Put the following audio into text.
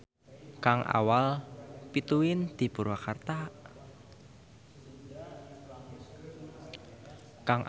Kang Awal pituin ti Purwakarta.